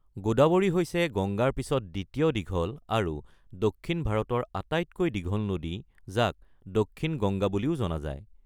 গোদাৱৰী হৈছে গংগাৰ পিছত দ্বিতীয় দীঘল, আৰু দক্ষিণ ভাৰতৰ আটাইতকৈ দীঘল নদী যাক 'দক্ষিণ গংগা' বুলিও জনা যায়।